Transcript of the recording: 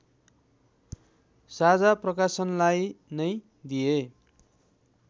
साझा प्रकाशनलाई नै दिएँ